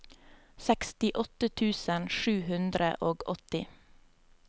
sekstiåtte tusen sju hundre og åtti